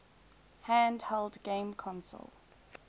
handheld game console